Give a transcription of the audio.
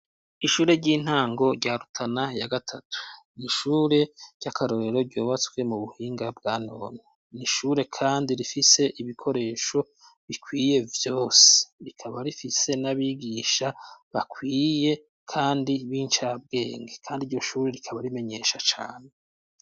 Ishure ry'intango rya rutana ya gatatu ni ishure ry'akarorero ryubatswe mu buhinga bwa none ni ishure kandi rifise ibikoresho bikwiye vyose rikaba rifise n'abigisha bakwiye kandi b' incabwenge kandi iryo shure rikaba rimenyesha cane.